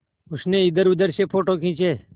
उसने इधरउधर से फ़ोटो खींचे